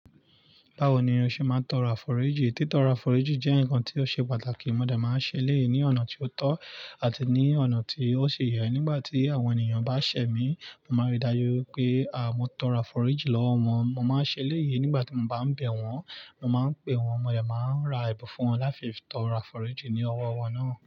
Báwo ni o ṣe máa ń tọrọ afọ́rájì? Títọrọ afọ́rájì jẹ́ ǹkan tí ó ṣe pàtàkì. Mo dẹ̀ máa ń ṣe eléyìí ní ọ̀nà tí ó tọ́ àti ní ọ̀nà tí ó ṣe yẹ. Nígbà tí àwọn ènìyàn bá ṣẹ̀ mí, mo máa rí i dájú pé àá, mo tọrọ afọ́rájì lọ́wọ́ wọn. Mo máa ń ṣe eléyìí nígbà tí mo bá ń bẹ̀ wọ́n. Mo máa ń pè wọ́n, mo dẹ̀ máa ń ra ẹ̀bùn fún wọn láti fi tọrọ afọ́rájì ní ọwọ́ wọn náà.